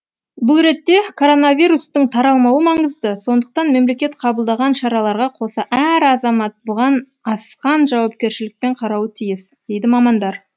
бұл ретте коронавирустың таралмауы маңызды сондықтан мемлекет қабылдаған шараларға қоса әр азамат бұған асқан жауапкершілікпен қарауы тиіс дейді мамандар